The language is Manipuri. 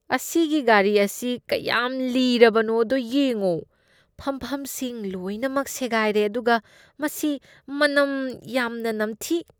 ꯑꯁꯤꯒꯤ ꯒꯥꯔꯤ ꯑꯁꯤ ꯀꯌꯥꯝ ꯂꯤꯔꯕꯅꯣꯗꯣ ꯌꯦꯡꯉꯣ꯫ ꯐꯝꯐꯝꯁꯤꯡ ꯂꯣꯏꯅꯃꯛ ꯁꯦꯒꯥꯏꯔꯦ ꯑꯗꯨꯒ ꯃꯁꯤ ꯃꯅꯝ ꯌꯥꯝꯅ ꯅꯝꯊꯤ꯫